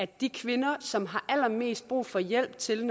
de kvinder som har allermest brug for hjælp til